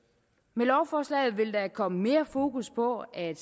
med lovforslaget vil der komme mere fokus på at